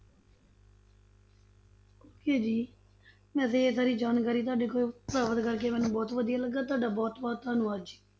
Okay ਜੀ ਵੈਸੇ ਇਹ ਸਾਰੀ ਜਾਣਕਾਰੀ ਤੁਹਾਡੇ ਕੋਲੋਂ ਪ੍ਰਾਪਤ ਕਰਕੇ ਮੈਂਨੂੰ ਬਹੁਤ ਵਧੀਆ ਲੱਗਾ, ਤੁਹਾਡਾ ਬਹੁਤ ਬਹੁਤ ਧੰਨਵਾਦ ਜੀ।